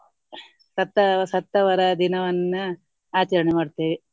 ಸತ್ತ ಸತ್ತವರ ದಿನವನ್ನ ಆಚರಣೆ ಮಾಡ್ತೇವೆ.